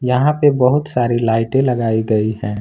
यहां पे बहुत सारी लाइटें लगाई गई है।